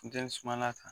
Funteni sumala kan